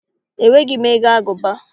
Enweghị m ego agụba